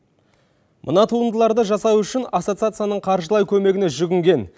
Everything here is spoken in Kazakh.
мына туындыларды жасау үшін ассоциацияның қаржылай көмегіне жүгінген